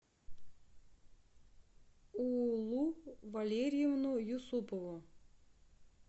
уулу валерьевну юсупову